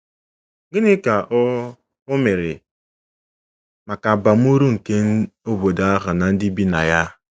Gịnị ka o o mere maka abam uru nke obodo ahụ na ndị bi na ya?